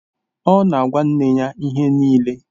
Ọ na-agwa nne ya ihe niile